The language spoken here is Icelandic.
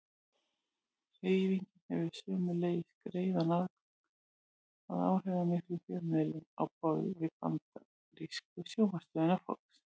Hreyfingin hefur sömuleiðis greiðan aðgang að áhrifamiklum fjölmiðlum á borð við bandarísku sjónvarpsstöðina Fox.